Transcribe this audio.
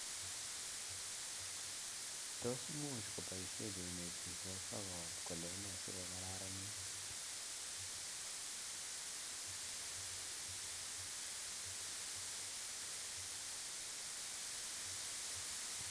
Tos muj kopaishe cheinetishe sokat kolene si kokarnit?